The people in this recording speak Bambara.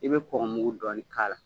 I be kɔkɔ mugu dɔɔni k'a la